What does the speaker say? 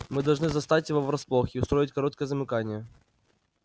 мы должны застать его врасплох и устроить короткое замыкание